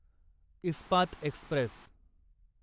Ispat Express